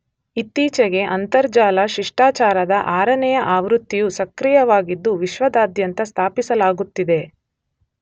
ಇತ್ತೀಚೆಗೆ ಅಂತರ್ಜಾಲ ಶಿಷ್ಟಾಚಾರದ 6ನೆಯ ಆವೃತ್ತಿಯು ಸಕ್ರಿಯವಾಗಿದ್ದು ವಿಶ್ವದಾದ್ಯಂತ ಸ್ಥಾಪಿಸಲಾಗುತ್ತಿದೆ